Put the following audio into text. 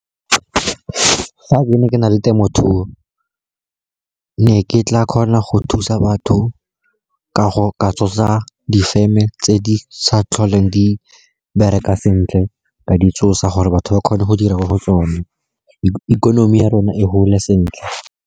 Fa ke ne ke na le temothuo, ke ne ke tla kgona go thusa batho ka go tsosa difeme tse di sa tlholeng di bereka sentle, ka di tsosa gore batho ba kgone go dira mo go tsone, ikonomi ya rona e gole sentle.